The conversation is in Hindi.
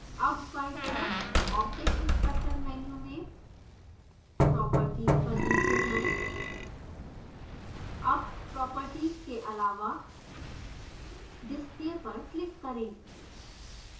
अब बायीं तरफ object inspector menu में properties पर नीचे जाएँ अब properties के आलावा display पर क्लिक करें